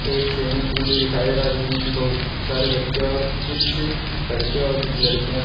एक swimming pool भी दिखाई दे रहा जिसमें की बहु सारे बच्चे और कुछ लड़के और कुछ लड़कियां--